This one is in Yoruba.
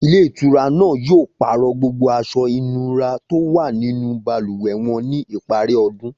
Ilé ìtura náà yóò pàrọ̀ gbogbo aṣọ ìnura tó wà nínú balùwẹ̀ wọn ní ìparí ọdún